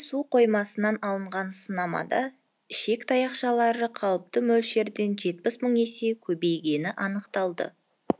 су қоймасынан алынған сынамада ішек таяқшалары қалыпты мөлшерден жетпіс мың есеге көбейгені анықталды